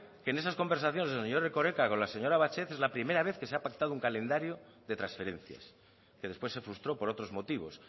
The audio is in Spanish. que en esas conversaciones del señor erkoreka con la señora batet es la primera vez que se ha pactado un calendario de transferencias que después se frustró por otros motivos